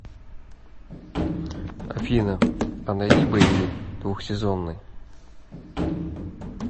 афина а найди боевик двухсезонный